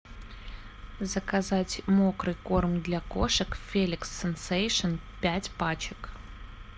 заказать мокрый корм для кошек феликс сенсейшен пять пачек